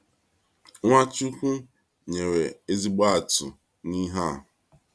NwaChukwu nyere ezigbo atụ n’ihe a.